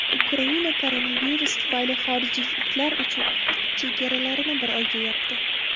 Ukraina koronavirus tufayli xorijliklar uchun chegaralarini bir oyga yopdi.